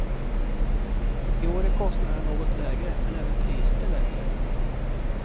I år är kostnaderna något lägre men även priset är lägre.